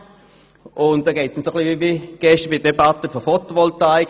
Da geht es uns ein bisschen wie gestern bei der Debatte zur Photovoltaik.